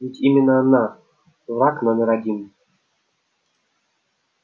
ведь именно она враг номер один